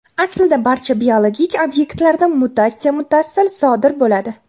Aslida, barcha biologik obyektlarda mutatsiya muttasil sodir bo‘ladi.